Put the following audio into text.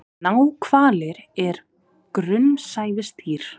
Náhvalir er grunnsævisdýr.